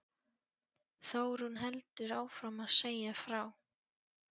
Þórunn heldur áfram að segja frá